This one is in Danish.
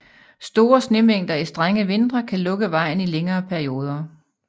Store snemængder i strenge vintre kan lukke vejen i længere perioder